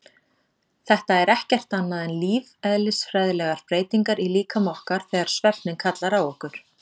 Þetta eru ekkert annað en lífeðlisfræðilegar breytingar í líkama okkar þegar svefninn kallar á okkur.